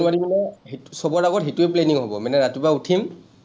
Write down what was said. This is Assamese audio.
মানে, চবৰ আগত সেইটোৱে planning হব। মানে ৰাতিপুৱা উঠিম,